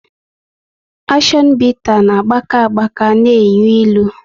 Akshion bita na gbaka agbaka na enyu ịlụ